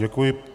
Děkuji.